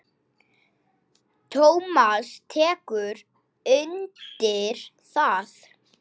Tómas tekur undir það.